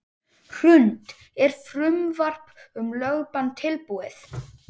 Hrund: Er frumvarp um lögbann tilbúið?